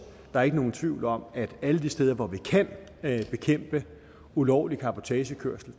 der er ikke nogen tvivl om at alle de steder hvor vi kan bekæmpe ulovlig cabotagekørsel